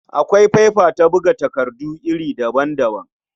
Akwai faifa ta buga takardu iri daban-daban.